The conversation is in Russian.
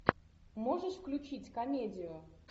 можешь включить комедию